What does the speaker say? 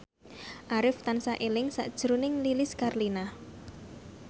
Arif tansah eling sakjroning Lilis Karlina